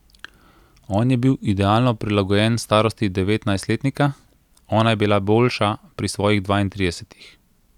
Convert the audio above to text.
On je bil idealno prilagojen starosti devetnajstletnika, ona je bila boljša pri svojih dvaintridesetih.